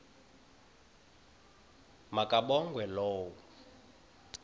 ma kabongwe low